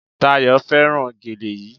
Dayò fẹ́ràn gèlè yí